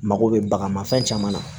Mako bɛ bagan ma fɛn caman na